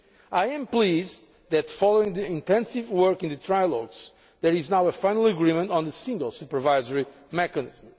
I am pleased that, following the intensive work in the trialogues, there is now a final agreement on the single supervisory mechanism.